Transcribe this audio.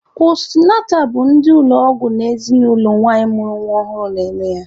Postunatal bụ ndị ụlọ ọgwụ na ezinụlọ nwanyị mụrụ nwa ọhụrụ na-eme ya.